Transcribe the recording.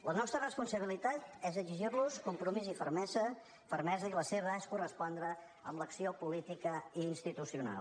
la nostra responsabilitat és exigir los compromís i fermesa i la seva és correspondre amb l’acció política i institucional